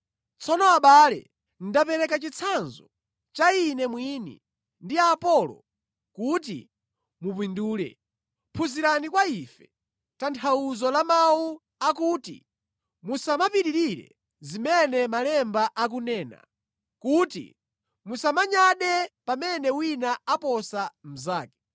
Tsono abale, ndapereka chitsanzo cha ine mwini ndi Apolo kuti mupindule. Phunzirani kwa ife tanthauzo la mawu akuti, “Musamapitirire zimene Malemba akunena,” kuti musamanyade pamene wina aposa mnzake.